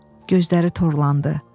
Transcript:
Gözləri torlandı.